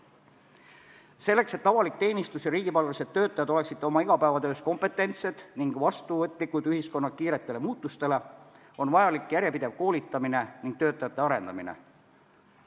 Selleks, et avalik teenistus ja riigipalgalised töötajad oleksid oma igapäevatöös kompetentsed ning vastuvõtlikud ühiskonna kiiretele muutustele, on vajalik järjepidev koolitamine ning töötajate arendamine.